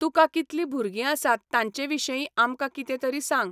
तुका कितलीं भुरगीं आसात तांचे विशयी आमकां कितें तरी सांग.